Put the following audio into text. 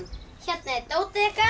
hérna er dótið ykkar